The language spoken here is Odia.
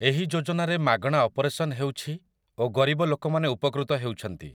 ଏହି ଯୋଜନାରେ ମାଗଣା ଅପରେସନ ହେଉଛି ଓ ଗରିବ ଲୋକମାନେ ଉପକୃତ ହେଉଛନ୍ତି ।